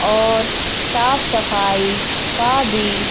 और साफ सफाई का भी--